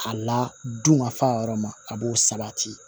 A la dunkafa yɔrɔ ma a b'o sabati